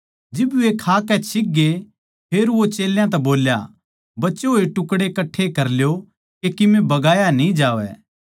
जिब वे खाकै छिकगे फेर वो चेल्यां तै बोल्या बचे होड़ टुकड़े कट्ठे कर ल्यो के किमे बगायां न्ही जावै